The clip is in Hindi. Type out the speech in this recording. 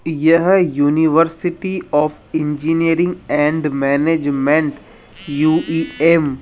यह university of engineering and management U E M --